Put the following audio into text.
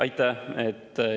Aitäh!